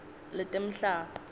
letemhlaba